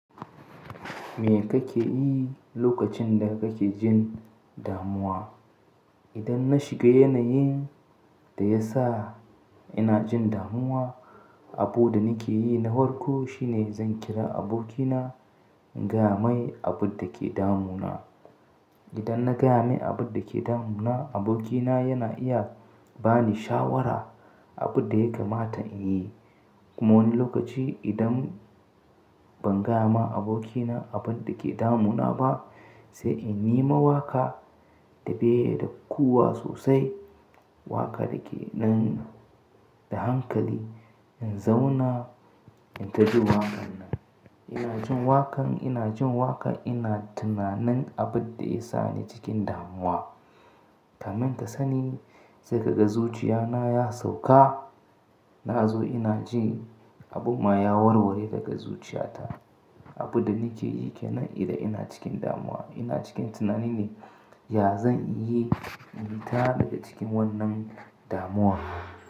Me kake yi lokacin da kake jin damuwa? Idan na shiga yanayin da ya sa ina jin damuwa, abu da nake yi na farko shine zan kira abokina, in gaya mai abun da ke damuna. Idan na gaya mai abun da ke damuna, abokina yana iya ba ni shawara, abin da ya kamata in yi. Kuma wani lokaci idan, ban gaya ma abokina abun da ke damuna ba, sai in yi ma waka, daɓe da kuwa sosai, wakar ke dan, da hankali in zauna in gaji waƙar nan. Ina jin waƙar, ina jin waƙar ina tunanin abin da ya sa ni cikin damuwa. Kamin ka sani, sai ka ga zuciya na ya sauka. Na zo ina jin abin ma ya warware daga zuciya ta. Abin da nake yi kenan idan ina cikin damuwa. Ina cikin tunani ne, ya zan yi in fita daga cikin wannan damuwar.